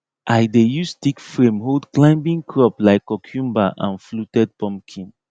i dey use stick frame hold climbing crop like cucumber and fluted pumpkin